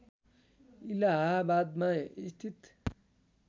इलाहाबादमा स्थित